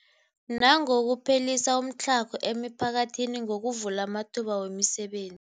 Nangokuphelisa umtlhago emiphakathini ngokuvula amathuba wemisebenzi.